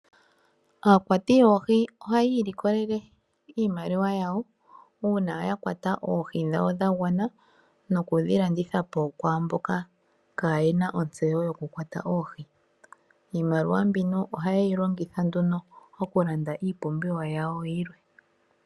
Aakwati yoohi ohaya ilikolele iimaliwa yawo uuna ya kwata oohi dhawo dha gwana nokudhi landitha po kwaamboka kaye na ontseyo yokukwata oohi. Iimaliwambino ohaye yi longitha nduno okulanda iipumbiwa yawo yilwe.